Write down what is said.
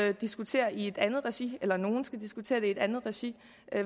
jo diskutere i et andet regi eller nogen skal diskutere det i et andet regi